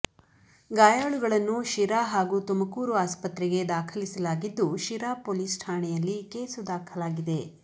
ಗಾಯಾಳುಗಳನ್ನು ಶಿರಾ ಹಾಗೂ ತುಮಕೂರು ಆಸ್ಪತ್ರೆಗೆ ದಾಖಲಿಸಲಾಗಿದ್ದು ಶಿರಾ ಪೊಲೀಸ್ ಠಾಣೆಯಲ್ಲಿ ಕೇಸು ದಾಖಲಾಗಿದೆ